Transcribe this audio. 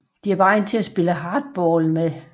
De er beregnet til at spille hardball med